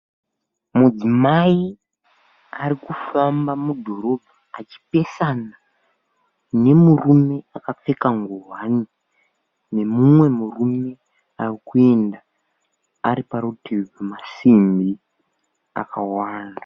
Mudzimai arikufamba mudhorobha, achipesana nemurume akapfeka nguwani, nemumwe murume arikuenda ariparutivi pemasimbi akawanda.